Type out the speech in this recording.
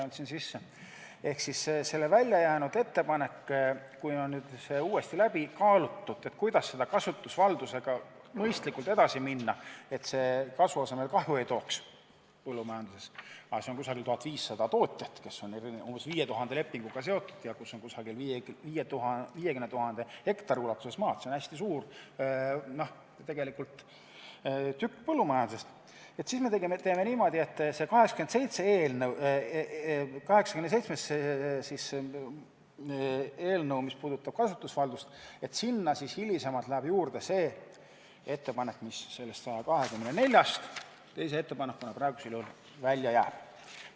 Mis puudutab seda välja jäetud ettepanekut, siis teeme me niimoodi, et kui on uuesti läbi kaalutud, kuidas kasutusvalduse teemaga mõistlikult edasi minna, et see põllumajanduses kasu asemel kahju ei tooks – see puudutab umbes 1500 tootjat, kes on seotud umbes 5000 lepinguga ja umbes 50 000 hektari maaga, see on hästi suur tükk põllumajandusest –, siis lisame eelnõusse 87, mis puudutab kasutusvaldust, hiljem juurde selle ettepaneku, mis praegusel juhul eelnõust 124 teise ettepanekuna välja jääb.